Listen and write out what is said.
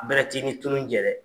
Bɛrɛt'i ni tunun jɛ